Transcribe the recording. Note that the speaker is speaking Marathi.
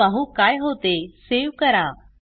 चला पाहु काय होते सेव्ह करा